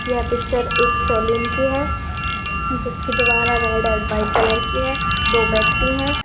यह पिक्चर एक सलून की है जिस की दीवार रेड व्हाइट कलर की है दो व्याक्ति है।